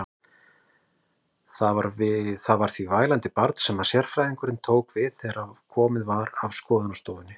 Það var því vælandi barn sem sérfræðingurinn tók við þegar komið var að skoðunarstofunni.